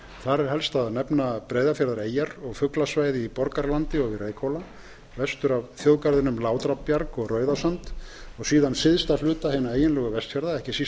þar er helst að nefna breiðafjarðareyjar og fuglasvæði í borgarlandi og við reykhóla vestur af þjóðgarðinum látrabjarg og rauðasand og síðan syðsta hluta hinna eiginlegu vestfjarða ekki síst